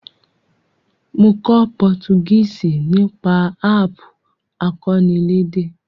Mo kó Portuguese nípasẹ̀ app akọ́nilédè